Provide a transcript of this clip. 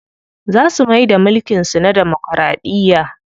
Za su maida mulkin su na damokiraɗiya.